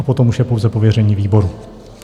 A potom už je pouze pověření výboru.